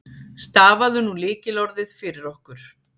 Stafaðu nú lykilorðið fyrir okkur.